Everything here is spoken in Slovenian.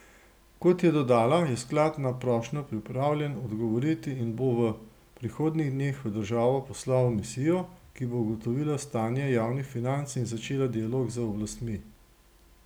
Kot je dodala, je sklad na prošnjo pripravljen odgovoriti in bo v prihodnjih dneh v državo poslal misijo, ki bo ugotovila stanje javnih financ in začela dialog z oblastmi.